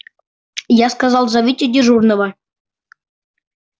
я сказал зовите дежурного